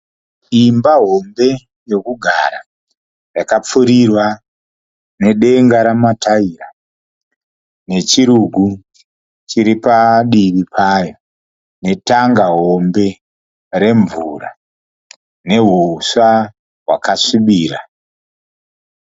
Imba hombe yokugara, yakapfurirwa nedenga remataira. Nechirugu chiripadivi payo. Netanga hombe remvura, nehuswa hwakasvibira